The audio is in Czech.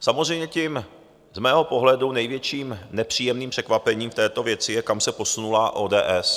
Samozřejmě tím z mého pohledu největším nepříjemným překvapením v této věci je, kam se posunula ODS.